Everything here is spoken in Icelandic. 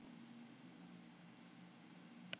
Ef við finnum af því súrt bragð er eitthvað í ólagi.